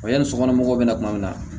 Wa yanni sokɔnɔ mɔgɔw bɛ na kuma min na